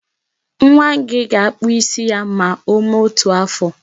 Nwa gị ga-akpụ isi ya ma o mee otu afọ.